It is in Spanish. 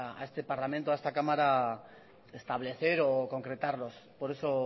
a este parlamento a esta cámara establecer o concretarlos por eso